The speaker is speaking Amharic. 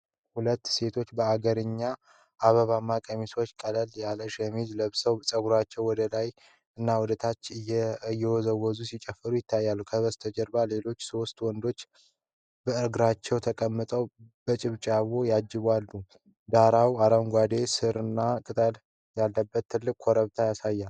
ሁለት ሴቶች በአገርኛ አበባማ ቀሚሶችና ቀለል ያለ ሸሚዝ ለብሰው ፀጉራቸውን ወደላይና ወደታች እየወዘወዙ ሲጨፍሩ ይታያሉ። ከበስተጀርባ ሌሎች ሶስት ወንዶች በእርጋታ ተቀምጠው በጭብጨባ ያጅባሉ፤ ዳራው አረንጓዴ ሣርና ትልቅ ኮረብታ ያሳያል።